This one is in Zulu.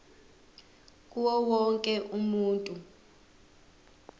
kuwo wonke umuntu